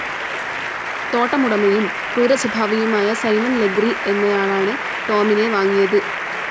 തോട്ടമുടമയും ക്രൂരസ്വഭാവിയുമായ Simon Legree എന്നയാളാണ് Tom വാങ്ങിയതു.